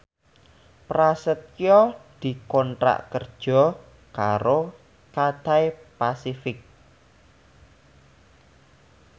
Prasetyo dikontrak kerja karo Cathay Pacific